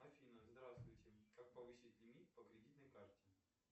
афина здравствуйте как повысить лимит по кредитной карте